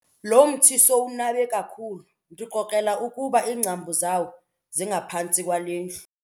Lo mthi sowunabe kakhulu ndikrokrela ukuba iingcambu zawo zingaphantsi kwale ndlu.